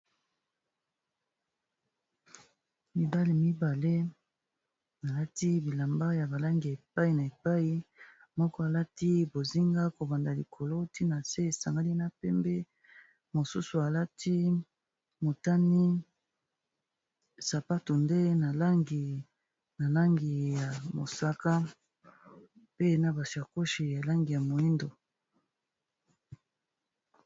mibali mibale balati bilamba ya balangi epai na epai moko alati bozinga kobanda likolo ti na se esangali na pembe mosusu alati motani sapatu nde nalangi nalangi ya mosaka pe na basiakoshi ya langi ya moindo